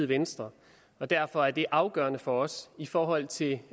venstre og derfor er det afgørende for os i forhold til